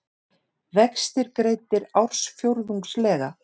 Vextir greiddir ársfjórðungslega